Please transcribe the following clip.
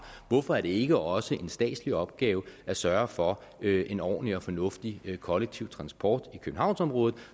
hvorfor er det ikke også en statslig opgave at sørge for en ordentlig og fornuftig kollektiv transport i københavnsområdet